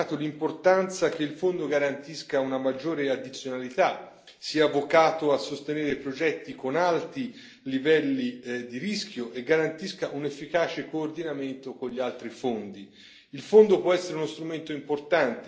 La commissione per il mercato interno ha sottolineato l'importanza che il Fondo garantisca una maggiore addizionalità, sia vocato a sostenere progetti con alti livelli di rischio e garantisca un efficace coordinamento con gli altri fondi.